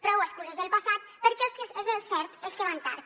prou excuses del passat perquè el que és el cert és que van tard